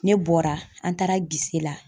Ne bɔra, an taara la